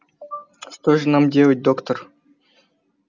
что же нам делать доктор